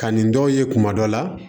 Ka nin dɔw ye kuma dɔ la